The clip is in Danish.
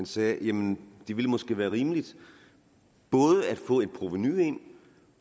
sagde jamen det ville måske være rimeligt både at få et provenu ind